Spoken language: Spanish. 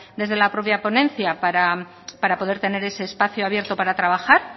desde la propia ponencia para poder tener ese espacio abierto para trabajar